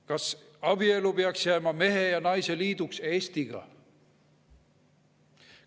Kas abielu peaks jääma mehe ja naise liiduks Eestiga?